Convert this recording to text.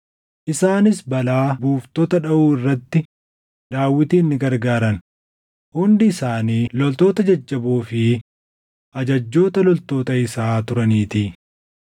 Isaanis balaa buuftota dhaʼuu irratti Daawitin ni gargaaran; hundi isaanii loltoota jajjaboo fi ajajjoota loltoota isaa turaniitii.